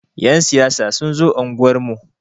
Ƴan siyasa sun zo unguwar mu.